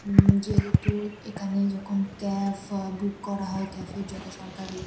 উম যেহেতু এখানে যখন ক্যাফ আ বুক করা হয় ক্যাফ -এর যত সরকারি--